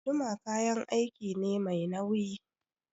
Guduma kayan aiki ne mai nauyi.